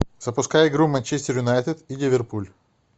запускай игру манчестер юнайтед и ливерпуль